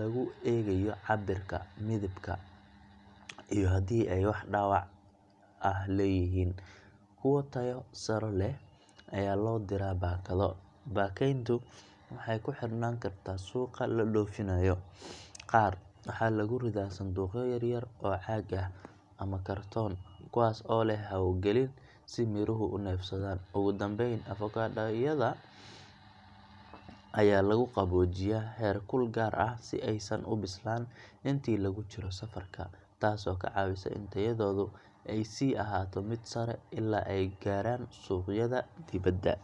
lagu eegayo cabbirka, midabka, iyo haddii ay wax dhaawac ah leeyihiin. Kuwa tayo sare leh ayaa loo diraa baakado. Baakayntu waxay ku xirnaan kartaa suuqa loo dhoofinayo – qaar waxaa lagu ridaa sanduuqyo yaryar oo caag ah ama kartoon, kuwaas oo leh hawo gelin si miruhu u neefsadaan. Ugu dambeyn, avocado yada ayaa lagu qaboojiyaa heerkul gaar ah si aysan u bislaan intii lagu jiro safarka, taasoo ka caawisa in tayadoodu ay sii ahaato mid sare ilaa ay gaaraan suuqyada dibedda.